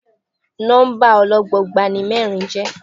Nọ́mbà ọlọ́gbọọgba ni mẹ́rin jẹ́.